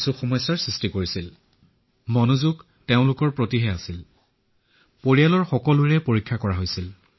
কিন্তু তেওঁলোককো পূৰ্বে পৰীক্ষা কৰোৱা হৈছিল